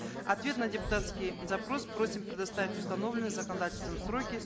ответ на депутатский запрос просим предоставить в установленные законодательством сроки